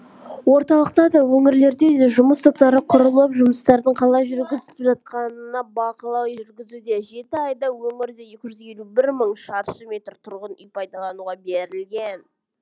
орталықта да өңірлерде де жұмыс топтары құрылып жұмыстардың қалай жүргізіліп жатқанына бақылау жүргізуде жеті айда өңірде екі жүз елу бір мың шаршы метр тұрғын үй пайдалануға берілген